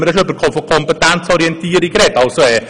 Hier wurde von Kompetenzorientierung usw. gesprochen.